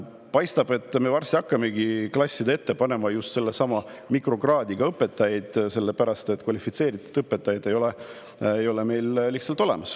Paistab, et varsti hakkamegi klasside ette panema just mikrokraadiga õpetajaid, sellepärast et kvalifitseeritud õpetajaid meil lihtsalt ei ole.